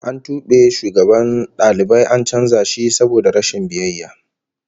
An tube shugaban dalibai an canza shi saboda rashin biyayya